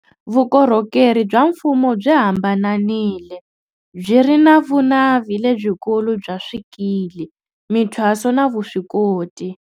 Vukorhokeri bya mfumo byi hambananile, byi ri na vunavi lebyikulu bya swikili, mi thwaso na vuswikoti.